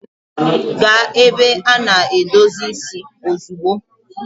Gaa ebe a na-edozi isi ozugbo!